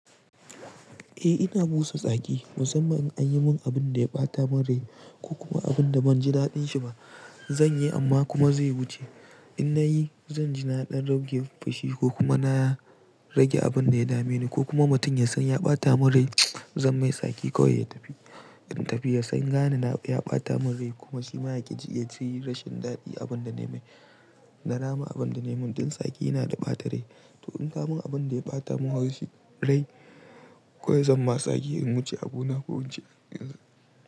Eh ina busa tsaki musamman in an yi min abun da ya ɓata min rai ko kuma abun da ban ji daɗin shi ba. Zan yi amma kuma zai wuce. In na yi, zan ji na ɗan rage fushi ko kuma na rage abun da ya dame ni ko kuma mutum ya san ya ɓata min rai. Zan mai tsaki kawai ya tafi. In tafi ya san gane na ya ɓata min rai kuma shi ma ya ƙi ya ji rashin daɗi abun da na yi. Na rama abun da na yi. Mun ɗin tsaki yana da ɓata rai. To in ka mun abun da ya ɓata mun haushi rai kawai zan ma tsaki in wuce abu na ko wuce emm.